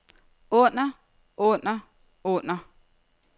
under under under